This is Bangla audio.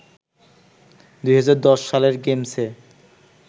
২০১০ সালের গেমসে